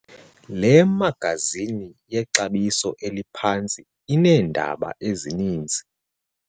Le magazini yexabiso eliphantsi ineendaba ezininzi.